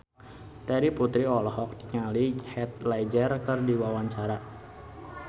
Terry Putri olohok ningali Heath Ledger keur diwawancara